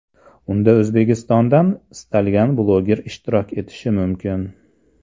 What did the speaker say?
Unda O‘zbekistondan istalgan bloger ishtirok etishi mumkin.